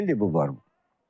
İki ildir bu var bu.